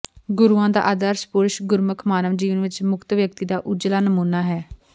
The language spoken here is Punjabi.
ਗੁਰੂਆਂ ਦਾ ਆਦਰਸ਼ ਪੁਰਸ਼ ਗੁਰਮੁਖ ਮਾਨਵ ਜੀਵਨ ਵਿੱਚ ਮੁਕਤ ਵਿਅਕਤੀ ਦਾ ਉੱਜਲਾ ਨਮੂਨਾ ਹੈ